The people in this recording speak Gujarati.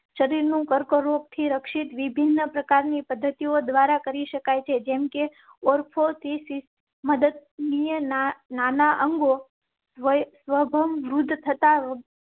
શરીર નું કર્કરોગ થી રક્ષિત વિભિન્ન પ્રકાર ની પદ્ધતિઓ દ્વારા કરી શકાય છે. જેમ કે. મદત ના ના અંગો સ્વભાવરોધ થતાં